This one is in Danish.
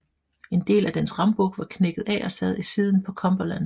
En del af dens rambuk var knækket af og sad i siden på Cumberland